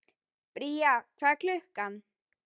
Bría, hvað er klukkan?